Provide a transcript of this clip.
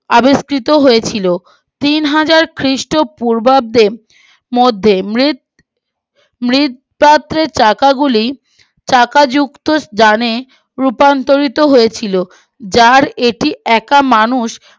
তিনহাজার খ্রীষ্ট পূর্বাব্দে মধ্যে মৃৎ মৃৎ চাকা গুলি চাকাযুক্ত যানে রূপান্তরিত হয়েছিল যার এটি একা মানুষ